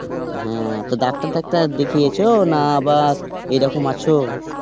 হাঁ তো ডাক্তার টাক্তার দেখিয়েছো না আবার এই রকম আছো?